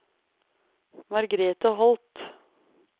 Margrethe Holth